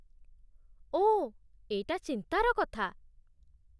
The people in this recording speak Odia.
ଓଃ, ଏଇଟା ଚିନ୍ତାର କଥା ।